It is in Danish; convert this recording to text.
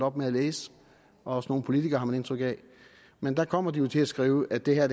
op med at læse og også nogle politikere har man indtryk af men der kommer de til at skrive at det her